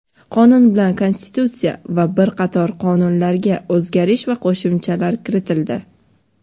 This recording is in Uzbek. Qonun bilan Konstitutsiya va bir qator qonunlarga o‘zgartirish va qo‘shimchalar kiritildi.